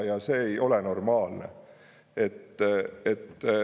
Ja see ei ole normaalne.